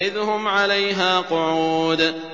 إِذْ هُمْ عَلَيْهَا قُعُودٌ